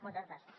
moltes gràcies